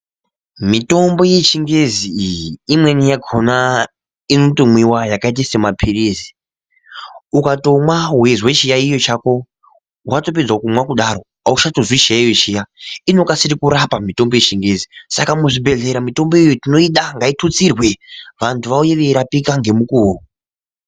Mitombo yechingezi iyi imweni yakhona inotomwiwa yakaita semaphirizi .Ukatomwa weizwa chiyaiyo chako ,watopedza kumwa ,kudaro auchatozwi chiyaiyo chiya ,inokasira kurapa mitombo yechingezi .Saka muzvibhedhlera mitombo iyi tinoida .Ngaitutsirwe vantu vauye veirapika ngemukuo .